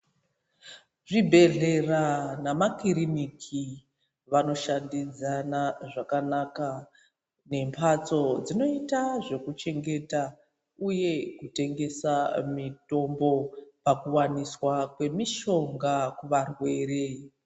Zvibhehlera nemakiriniki wanoshandidzana zvakanaka nembatso dzinoita zvekuchengeta, uye kutengesa mitombo pakuwaniswa kwemishonga kuvarwere.